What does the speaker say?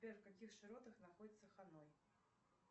сбер в каких широтах находится ханой